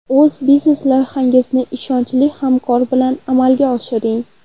O‘z biznes loyihangizni ishonchli hamkor bilan amalga oshiring.